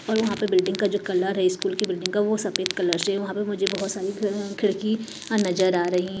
और वहां पे बिल्डिंग का जो कलर है स्कूल की बिल्डिंग का वो सफेद कलर से वहां पे मुझे बहुत सारी खिड़की नजर आ रही --